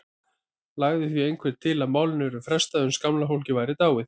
Lagði því einhver til að málinu yrði frestað uns gamla fólkið væri dáið.